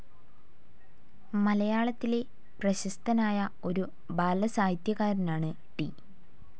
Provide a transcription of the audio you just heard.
മലയാളത്തിലെ പ്രശസ്തനായ ഒരു ബാലസാഹിത്യകാരനാണ് ടി.